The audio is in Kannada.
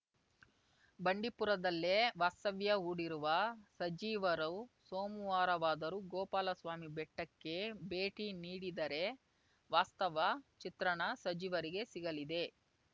ಬಂಡೀಪುರದಲ್ಲೇ ವಾಸ್ತವ್ಯ ಹೂಡಿರುವ ಸಚಿವರು ಸೋಮುವಾರವಾದರೂ ಗೋಪಾಲಸ್ವಾಮಿ ಬೆಟ್ಟಕ್ಕೆ ಭೇಟಿ ನೀಡಿದರೆ ವಾಸ್ತವ ಚಿತ್ರಣ ಸಚಿವರಿಗೆ ಸಿಗಲಿದೆ